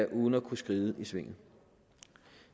uden at kunne skride i svinget